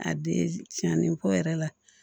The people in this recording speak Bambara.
A den tiɲɛnen kɔ yɛrɛ la